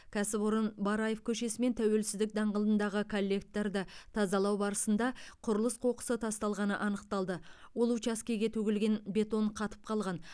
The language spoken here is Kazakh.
кәсіпорын бараев көшесі мен тәуелсіздік даңғылындағы коллекторды тазалау барысында құрылыс қоқысы тасталғаны анықталды ол учаскеге төгілген бетон қатып қалған